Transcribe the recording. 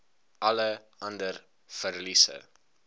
alle ander verliese